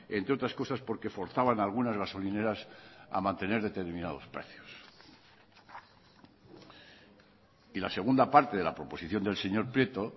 entre otras cosas porque forzaban a algunas gasolineras a mantener determinados precios y la segunda parte de la proposición del señor prieto